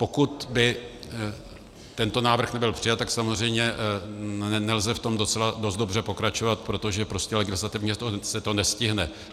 Pokud by tento návrh nebyl přijat, tak samozřejmě nelze v tom docela dost dobře pokračovat, protože prostě legislativně se to nestihne.